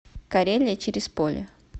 карелия через поле